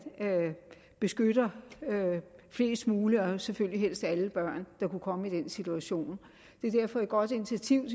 beskytter flest mulige og selvfølgelig helst alle børn der kunne komme i den situation det er derfor et godt initiativ